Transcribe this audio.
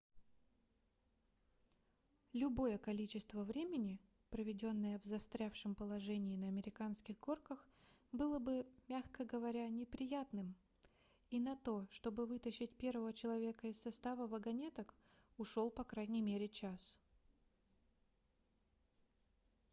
любое количество времени проведенное в застрявшем положении на американских горках было бы мягко говоря неприятным и на то чтобы вытащить первого человека из состава вагонеток ушел по крайней мере час